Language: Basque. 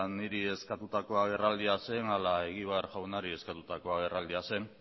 niri eskatutako agerraldia zen ala egibar jaunari eskatutako agerraldia zen